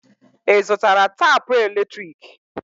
Ị zụtara tapụ eletrik?